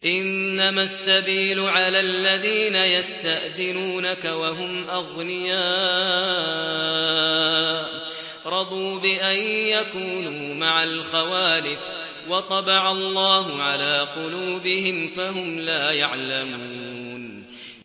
۞ إِنَّمَا السَّبِيلُ عَلَى الَّذِينَ يَسْتَأْذِنُونَكَ وَهُمْ أَغْنِيَاءُ ۚ رَضُوا بِأَن يَكُونُوا مَعَ الْخَوَالِفِ وَطَبَعَ اللَّهُ عَلَىٰ قُلُوبِهِمْ فَهُمْ لَا يَعْلَمُونَ